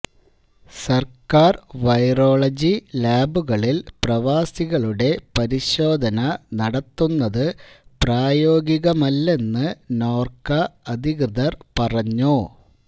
സർക്കാർ വൈറോളജി ലാബുകളിൽ പ്രവാസികളുടെ പരിശോധന നടത്തുന്നതു പ്രായോഗികമല്ലെന്ന് നോർക്ക അധികൃതർ പറഞ്ഞു